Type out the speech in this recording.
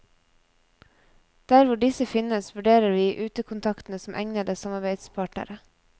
Der hvor disse finnes, vurderer vi utekontaktene som egnede samarbeidspartnere.